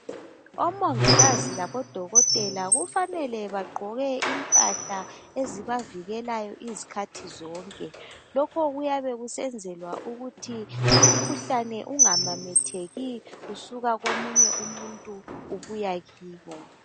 Omongikazi labodokotela kufanele bagqoke impahla ezibavikelayo izkhathi zonke, lokho kuyabe kusenzelwa ukuthi umkhuhlane ungamametheki usuka komunye umuntu ubuya kibo.